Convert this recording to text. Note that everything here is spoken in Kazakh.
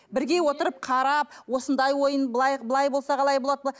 бірге отырып қарап осындай ойын былай былай болса қалай болады